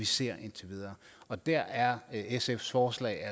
set indtil videre og der er sfs forslag